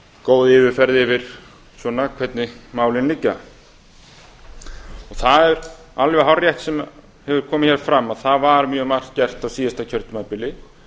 góð yfirferð yfir svona hvernig málin liggja það er alveg hárrétt sem hefur komið hér fram að það var mjög margt gert á síðasta kjörtímabili